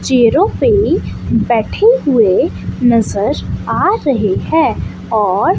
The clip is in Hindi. चेयरो पे बैठे हुए नज़र आ रहे हैं और --